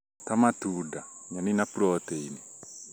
ta matunda, nyeni na proteini